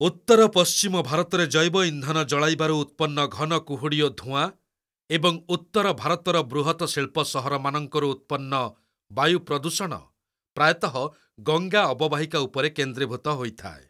ଉତ୍ତର ପଶ୍ଚିମ ଭାରତରେ ଜୈବ ଇନ୍ଧନ ଜଳାଇବାରୁ ଉତ୍ପନ୍ନ ଘନ କୁହୁଡ଼ି ଓ ଧୂଆଁ ଏବଂ ଉତ୍ତର ଭାରତର ବୃହତ ଶିଳ୍ପ ସହରମାନଙ୍କରୁ ଉତ୍ପନ୍ନ ବାୟୁ ପ୍ରଦୂଷଣ ପ୍ରାୟତଃ ଗଙ୍ଗା ଅବବାହିକା ଉପରେ କେନ୍ଦ୍ରୀଭୂତ ହୋଇଥାଏ।